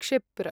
क्षिप्र